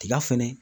Tiga fɛnɛ